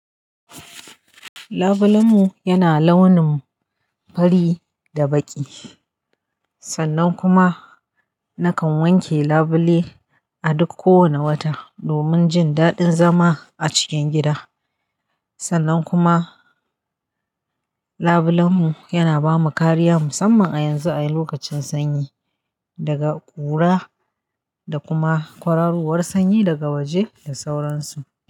Labulen mu yana launin fari da baƙi. Sannan kuma nakan wanke labule a duk kowane wata domin jin daɗin zama a cikin gida. Sannan kuma labulen mu yana ba mu kariya musamman a yanzu a lokacin sanyi daga ƙura da kuma kwararuwar sanyi daga waje da sauransu.